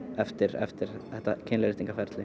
eftir eftir þetta